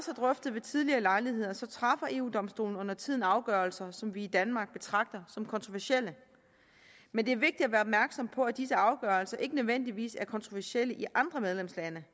drøftet ved tidligere lejligheder træffer eu domstolen undertiden afgørelser som vi i danmark betragter som kontroversielle men det er vigtigt at være opmærksom på at disse afgørelser ikke nødvendigvis er kontroversielle i andre medlemslande